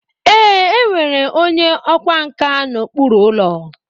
Ee, e nwere onye ọkwá nkà n'okpuru ụlọ.